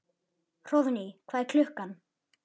Hróðný, hvað er klukkan?